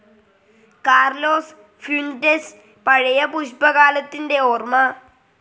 Carlos Fuentes പഴയ പുഷ്പകാലത്തിന്റെ ഓർമ